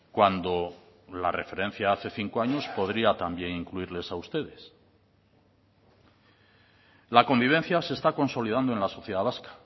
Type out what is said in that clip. cuando la referencia hace cinco años podría también incluirles a ustedes la convivencia se está consolidando en la sociedad vasca